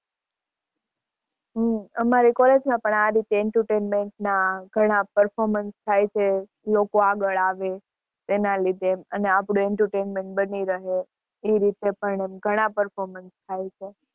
હમ અમારે college માં પણ આ રીતે entertainment ના ઘણાં performance થાય છે, લોકો આગળ આવે એના લીધે અને આપણું entertainment બની રહે એ રીતે પણ ઘણાં performance થાય છે.